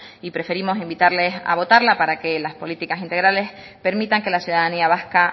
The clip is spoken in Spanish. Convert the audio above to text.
y preferimos invitarles a votarla para que las políticas integrales permitan que la ciudadanía vasca